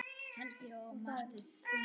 Helgi og Martha Eiríks.